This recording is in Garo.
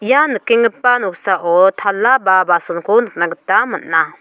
ia nikenggipa noksao tala ba basonko nikna gita man·a.